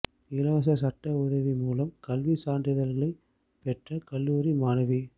இலவச சட்ட உதவி மூலம் கல்வி சான்றிதழ்களைப் பெற்ற கல்லூரி மாணவி